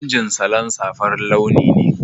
Hayakin injin salancer farin launi ne.